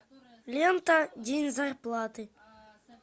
лента день зарплаты